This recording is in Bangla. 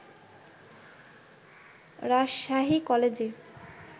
রাজশাহী কলেজে